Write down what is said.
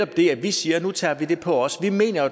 det at vi siger at nu tager vi det på os vi mener